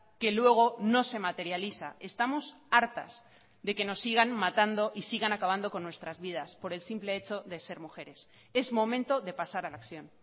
que luego no se materializa estamos hartas de que nos sigan matando y sigan acabando con nuestras vidas por el simple hecho de ser mujeres es momento de pasar a la acción